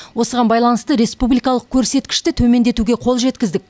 осыған байланысты республикалық көрсеткішті төмендетуге қол жеткіздік